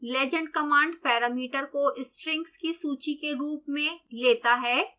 legend command parameter को strings की सूची के रूप में लेता है